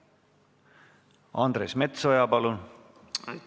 Andres Metsoja, palun!